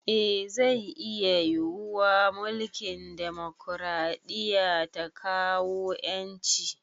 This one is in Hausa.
Eh zai iya yiwuwa mulkin demokaraɗiya ta kawo ƴanci